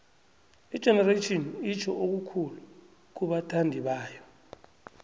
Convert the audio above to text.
igenerations itjho okukhulu kubathandibayo